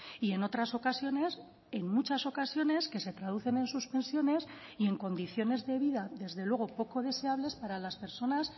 y en otras ocasiones en muchas ocasiones que se traducen en suspensiones y en condiciones de vida desde luego poco deseables para las personas